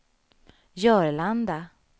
Jörlanda